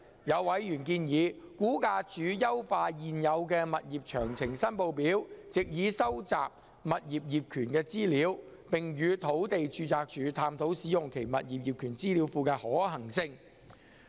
有委員建議估價署優化現有的"物業詳情申報表"，藉以收集物業業權資料，並與土地註冊處探討使用其物業業權資料庫的可行性。